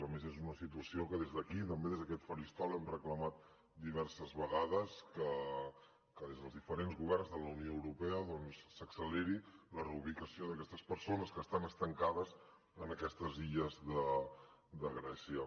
a més és una situació que des d’aquí també des d’aquest faristol hem reclamat diverses vegades que des dels diferents governs de la unió europea s’acceleri la reubicació d’aquestes persones que estan estancades en aquestes illes de grècia